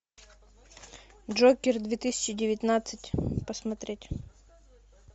джокер две тысячи девятнадцать посмотреть